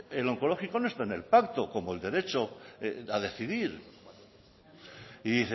el onkologikoa no está en el pacto como el derecho a decidir y